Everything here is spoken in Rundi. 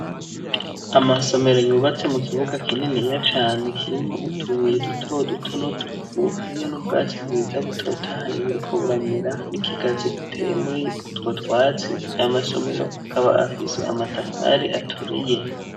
Amasomero yubatse mu kibuga kininiya cane kirimwo utubuye duto duto n'utuvu, hariyo n'ubwatsi bwiza butotahaye buriko buramera n'ikigazi giteye muri utwo twatsi, amasomero akaba afise amatafari aturiye.